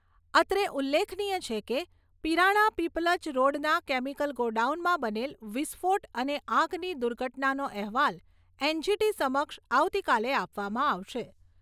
અત્રે ઉલ્લેખનીય છે કે, પીરાણા પીપલજ રોડના કેમીકલ ગોડાઉનમાં બનેલ વિસ્ફોટ અને આગની દુર્ઘટનાનો અહેવાલ એનજીટી સમક્ષ આવતીકાલે આપવામાં આવશે.